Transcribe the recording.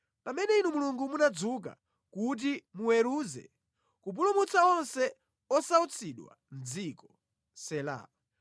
pamene Inu Mulungu munadzuka kuti muweruze, kupulumutsa onse osautsidwa mʼdziko. Sela